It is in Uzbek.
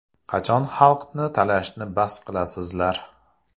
Qachon xalqni talashni bas qilasizlar?